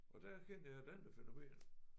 Og der erkendte jeg et andet fænomen